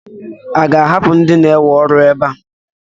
A ga-ahapụ ndị na-ewe ọrụ ebe a?